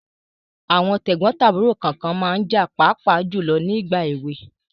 Àwọn tẹ̀gbọ́n tàbúrò kànkan ma ń jà pàápàá jùlọ ní ìgbà èwe.